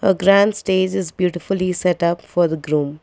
the grand stage is beautifully set up for the groom.